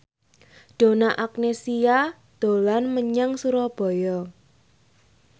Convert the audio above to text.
Donna Agnesia dolan menyang Surabaya